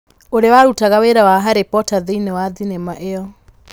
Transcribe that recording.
ũrĩa warutaga wĩra wa Harry Porter thĩinĩ wa thenema ĩyo